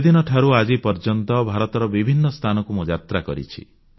ସେଦିନଠାରୁ ଆଜିପର୍ଯ୍ୟନ୍ତ ଭାରତର ବିଭିନ୍ନ ସ୍ଥାନକୁ ମୁଁ ଯାତ୍ରା କରିଛି